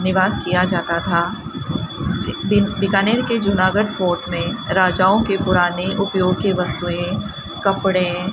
निवास किया जाता था बी बीकानेर के जूनागढ़ फोर्ट में राजाओं के पुराने उपयोग के वस्तुएं कपड़े --